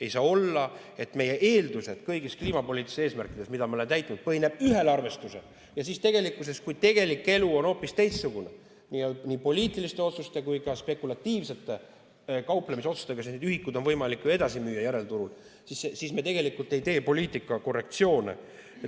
Ei saa olla, et meie eeldused kõigi kliimapoliitiliste eesmärkide puhul, mida me oleme täitnud, põhinevad ühel arvestusel, aga siis, kui tegelik elu on hoopis teistsugune, sest nii poliitiliste otsuste kui ka spekulatiivsete kauplemisotsuste põhjal on neid ühikuid võimalik ju edasi müüa järelturul, me tegelikult ei tee poliitikas korrektsioone.